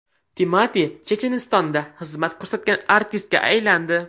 Timati Chechenistonda xizmat ko‘rsatgan artistga aylandi.